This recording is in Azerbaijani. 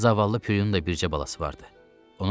Zavallı Pilyonun da bircə balası vardı.